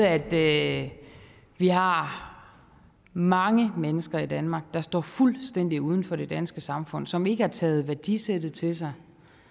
at vi har mange mennesker i danmark der står fuldstændig uden for det danske samfund som ikke har taget værdisættet til sig